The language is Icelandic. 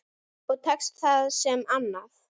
Og tekst það sem annað.